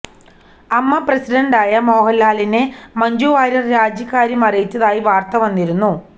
അമ്മ പ്രസിഡണ്ടായ മോഹന്ലാലിനെ മഞ്ജു വാര്യര് രാജിക്കാര്യം അറിയിച്ചതായി വാര്ത്ത വന്നിരുന്നു